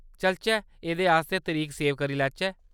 चलचै एह्‌‌‌दे आस्तै तरीक सेव करी लैचै।